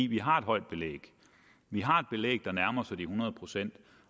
vi har et højt belæg vi har et belæg der nærmer sig de hundrede procent